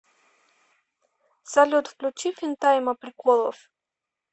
салют включи финтайма приколов